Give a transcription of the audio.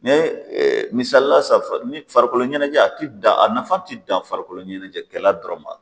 Mɛ ee misalila sisan ni farikoloɲɛnɛjɛ a nafa te dan farikolokɔɲɛnɛjɛkɛlɛ dɔrɔn ma